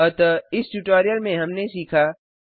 अतः इस ट्यूटोरियल में हमने सीखा